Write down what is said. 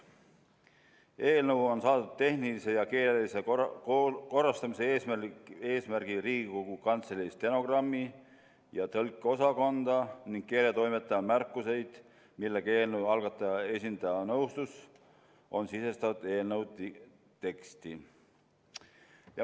Eelnõu on saadetud tehnilise ja keelelise korrastamise eesmärgil Riigikogu Kantselei stenogrammi- ja tõlkeosakonda ning keeletoimetaja märkused, millega eelnõu algataja esindaja nõustus, on sisestatud eelnõu teksti.